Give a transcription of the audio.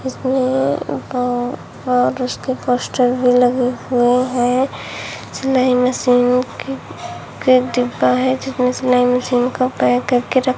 इसमें ऊपर और उसके पोस्टर भी लगे हुए हैं सिलाई मशीन की के डिब्बा है जिसमें सिलाई मशीन का पैक करके रख --